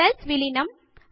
cells విలీనం